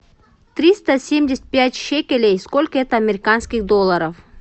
триста семьдесят пять шекелей сколько это американских долларов